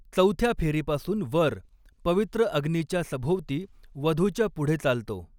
चौथ्या फेरीपासून वर, पवित्र अग्नीच्या सभोवती वधूच्या पुढे चालतो.